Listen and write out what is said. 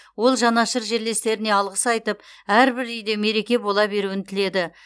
ол жанашыр жерлестеріне алғыс айтып әрбір үйде мереке бола беруін тіледі